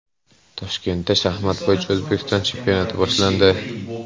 Toshkentda shaxmat bo‘yicha O‘zbekiston chempionati boshlandi.